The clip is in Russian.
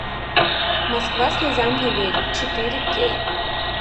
москва слезам не верит четыре кей